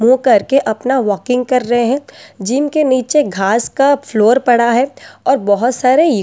मुंह करके अपना वॉकिंग कर रहे हैं जिनके नीचे घास का फ्लोर पड़ा है और बहोत सारे--